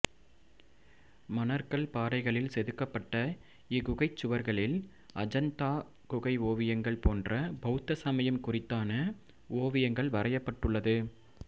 மணற்கல் பாறைகளில் செதுக்கப்பட்ட இக்குகைச் சுவர்களில் அஜந்தா குகை ஓவியங்கள் போன்ற பௌத்த சமயம் குறித்தான ஓவியங்கள் வரையப்பட்டுள்ளது